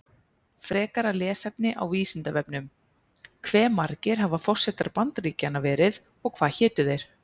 Frekara lesefni á Vísindavefnum: Hve margir hafa forsetar Bandaríkjanna verið og hvað hétu þeir?